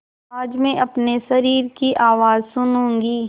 आज मैं अपने शरीर की आवाज़ सुनूँगी